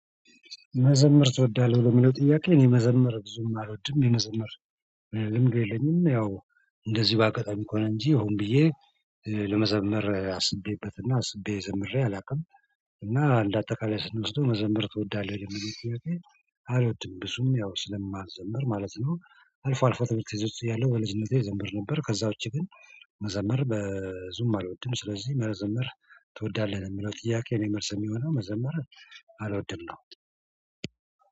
መዘምር ትወዳለህ ብሎ የሚለው ጥያቄ እኔ መዘምር ብዙም አልወድም የመዘምር ልምድ የለኝም። ያው እንደዚህ በአጋጣሚ እኮ ነው እንጂ ሆም ብዬ ለመዘመር አስቤበትና አስቤ ዘምሬ አላውቅም። እና እንደ አጠቃላይ ስንወስደው መዘምር ትወዳለህ የመጀመሪያው አልወድም ብዙም ያው ስለማዘምር ማለት ነው። አልፎ አልፎ ትዝት ይዞት ያለው በልጅነቴ እዘምር ነበር። ከዛ ውጪ ግን መዘመር በዙም አልወድም። ስለዚህ መዘመር ትወዳለህ የሚለው ጥያቄ እኔ መልስ የሚሆነው መዘመር አልወድም ነው።